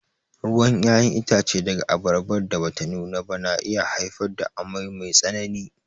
Ruwan ƴaƴan itace daga abarbar da bata nuna ba na iya haifar da amai mai tsanani.